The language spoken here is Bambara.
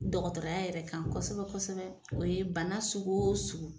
Dɔgɔtɔrɔya yɛrɛ kan kosɛbɛ kosɛbɛ o ye bana sugu o sugu.